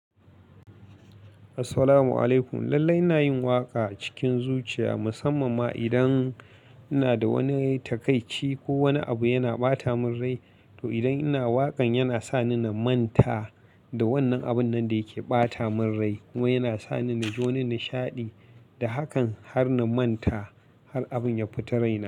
Assalamu alaikum. Lallai ina yin waƙa cikin zuciya, musamman ma idan ina da wani takaici ko wani abu yana ɓata min rai. To idan ina waƙan yana sa ni na manta da wannan abun nan da yake ɓata min rai ko yana sa ni na ji wani nishaɗi da hakan har na manta har abun ya fita raina.